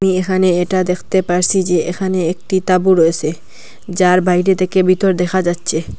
এখানে এটা দেখতে পারসি যে এখানে একটি তাঁবু রয়েসে যার বাইরে থেকে ভিতর দেখা যাচ্ছে।